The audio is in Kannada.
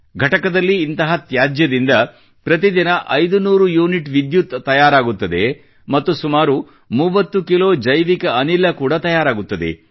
ಘಟಕದಲ್ಲಿ ಇಂತಹ ತ್ಯಾಜ್ಯದಿಂದ ಪ್ರತಿದಿನ 500 ಯೂನಿಟ್ ವಿದ್ಯುತ್ ತಯಾರಾಗುತ್ತದೆ ಮತ್ತು ಸುಮಾರು 30 ಕಿಲೋ ಜೈವಿಕ ಅನಿಲ ಕೂಡಾ ತಯಾರಾಗುತ್ತದೆ